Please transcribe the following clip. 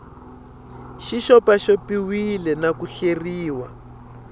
xi xopaxopiwile na ku hleriwa